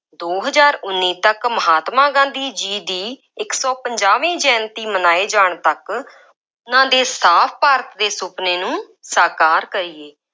ਦੋ ਹਜ਼ਾਰ ਉੱਨੀ ਤੱਕ ਮਹਾਤਮਾ ਗਾਂਧੀ ਜੀ ਦੀ ਇੱਕ ਸੌ ਪੰਜਾਹਵੀਂ ਜੈਯੰਤੀ ਮਨਾਏ ਜਾਣ ਤੱਕ, ਉਹਨਾ ਦੇ ਸਾਫ ਭਾਰਤ ਦੇ ਸੁਪਨੇ ਨੂੰ ਸਾਕਾਰ ਕਰੀਏ।